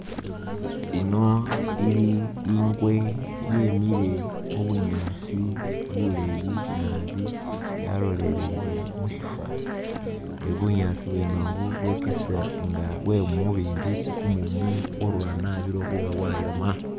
Iyino ili ingwe yemile mu bunyaasi buleyi naabi , yalolele mushifani ne bunyaasi bwene ubu bwokesa nga bwe mumubimbi isi kumumu kworura naabi lwekhuba bwayoma.